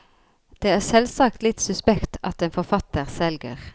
Det er selvsagt litt suspekt at en forfatter selger.